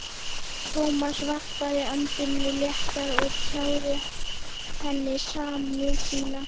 Thomas varpaði öndinni léttar og tjáði henni samúð sína.